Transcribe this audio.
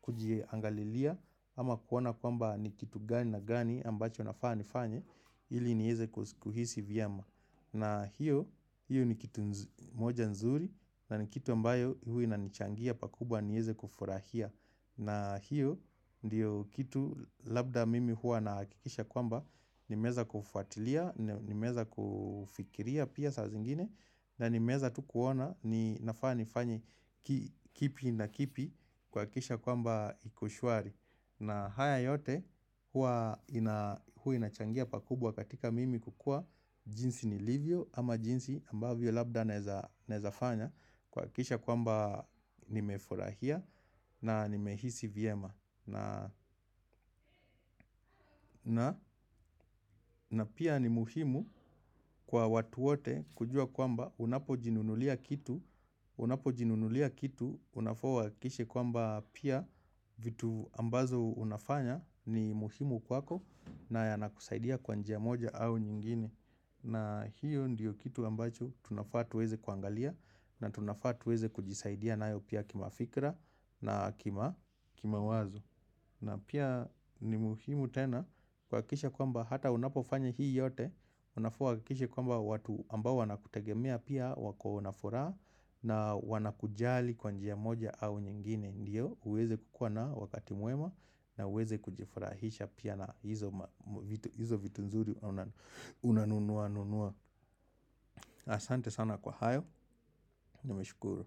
kujiangalilia ama kuona kwamba ni kitu gani na gani ambacho nafaa nifanye ili nieze kuhisi vyema. Na hiyo ni kitu moja nzuri na ni kitu ambayo huwa inanichangia pakubwa nieze kufurahia. Na hiyo ndiyo kitu labda mimi huwa nahakikisha kwamba nimeeza kufuatilia, nimeeza kufikiria pia saa zingine. Na nimeeza tu kuona ni nafaa nifanye kipi na kipi kuhakikisha kwamba iko shwari. Na haya yote huwa inachangia pakubwa katika mimi kukuwa jinsi nilivyo ama jinsi ambavyo labda naeza fanya kuhakikisha kwamba nimefurahia na nimehisi vyema. Na pia ni muhimu kwa watu wote kujua kwamba unapojinunulia kitu, unapojinunulia kitu, unafaa uhakikishe kwamba pia vitu ambazo unafanya ni muhimu kwako na yanakusaidia kwa njia moja au nyingine. Na hiyo ndiyo kitu ambacho tunafaa tuweze kuangalia na tunafaa tuweze kujisaidia nayo pia kimafikra na kimawazo. Na pia ni muhimu tena kuhakikisha kwamba hata unapofanya hii yote unafaa uhakikishe kwamba watu ambao wanakutegemea pia wako na furaha. Na wana kujali kwa njia moja au nyingine ndio uweze kukuwa na wakati mwema na uweze kujifurahisha pia na hizo vitu nzuri. Unanunua nunua asante sana kwa hayo nimeshukuru.